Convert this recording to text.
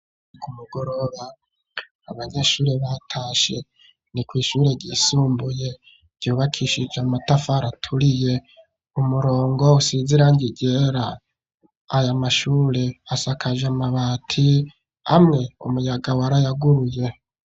Ku mugoroba, abanyeshuri batashe ni kw' ishure ry'isumbuye, ryubakishije amatafari aturiye ,umurongo usizirangi ryera ,aya mashure asakajemabati ,amwe umuyaga warayaguruye.